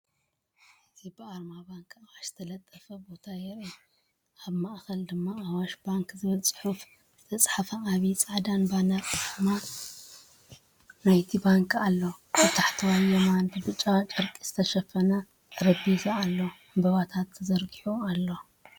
እዚ ብኣርማ ባንኪ ኣዋሽ ዝተለጠፈ ቦታ የርኢ። ኣብ ማእከል ድማ “ኣዋሽ ባንክ” ዝብል ጽሑፍ ዝተጻሕፈ ዓቢ ጻዕዳ ባነርን ኣርማ ናይ’ቲ ባንክን ኣሎ። ኣብ ታሕተዋይ የማን ብብጫ ጨርቂ ዝተሸፈነ ጠረጴዛ ኣሎ፣ ዕምባባታት ተዘርጊሑ ኣሎ።